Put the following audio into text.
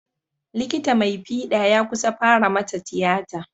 Likita mai fiɗa ya kusa fara mata tiyata.